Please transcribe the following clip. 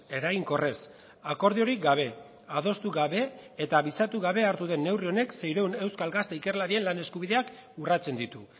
eraginkorrez akordiorik gabe adostu gabe eta abisatu gabe hartu den neurri honek seiehun euskal gazte ikerlarien lan eskubideak urratzen ditu